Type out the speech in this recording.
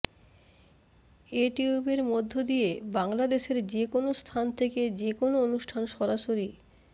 এ টিউবের মধ্য দিয়ে বাংলাদেশের যে কোনো স্থান থেকে যে কোনো অনুষ্ঠান সরাসরি